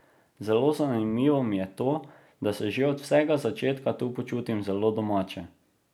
Zelo zanimivo mi je to, da se že od vsega začetka tu počutim zelo domače.